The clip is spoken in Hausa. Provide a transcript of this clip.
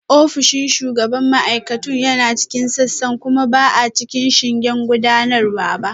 Ofishin shugaban ma'aikatun yana cikin sassan kuma ba a cikin shingen gudanarwa ba